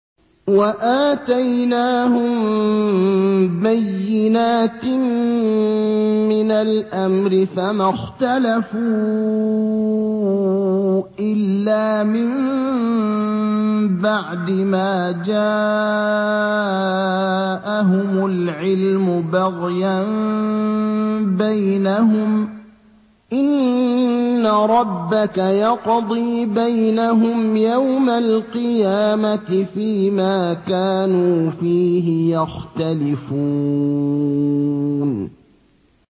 وَآتَيْنَاهُم بَيِّنَاتٍ مِّنَ الْأَمْرِ ۖ فَمَا اخْتَلَفُوا إِلَّا مِن بَعْدِ مَا جَاءَهُمُ الْعِلْمُ بَغْيًا بَيْنَهُمْ ۚ إِنَّ رَبَّكَ يَقْضِي بَيْنَهُمْ يَوْمَ الْقِيَامَةِ فِيمَا كَانُوا فِيهِ يَخْتَلِفُونَ